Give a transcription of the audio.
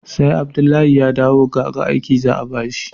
sai Abdullahi ya dawo gaga aiki za a bashi